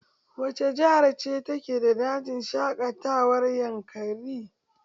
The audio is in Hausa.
Wace jihar ce ke da dajin shaƙatawar yankari?